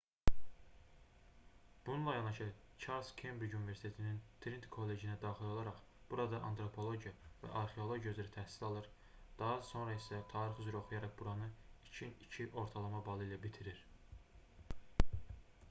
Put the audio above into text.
bununla yanaşı çarles kembric universitetinin triniti kollecinə daxil olaraq burada antropologiya və arxeologiya üzrə təhsil alır daha sonra isə tarix üzrə oxuyaraq buranı 2:2 ortalama balı ilə bitirir